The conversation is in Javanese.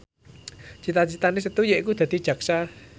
cita citane Setu yaiku dadi jaksa